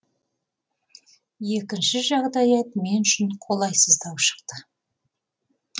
екінші жағдаят мен үшін қолайсыздау шықты